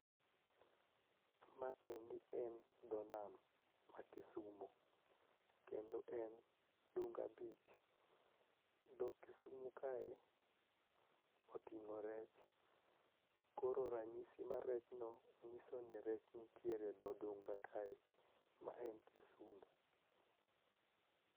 Maendi en dho nam ma Kisumo kendo en Dunga beach. Dho Kisumo kae oting'o rech koro ranyisi mar rechno nyiso ni rech nitiere e dho dunga kae, ma en Kisumu.